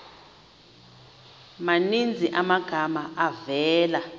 maninzi amagama avela